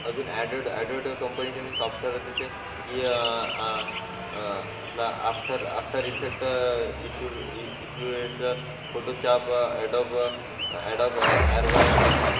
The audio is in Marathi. अजून अँड्रॉइड अँड्रॉइड कंपनीचे सॉफ्टवेअर आहेत अह आह आपला आफ्टर इफेक्ट फोटोशॉप फोटोच्या एडिट